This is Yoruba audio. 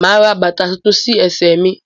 Máa ra bàtà tuntun sí ẹsẹ mí